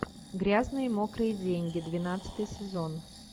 грязные мокрые деньги двенадцатый сезон